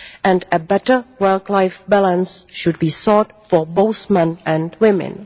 and a better work life balance should be sought for both men and women.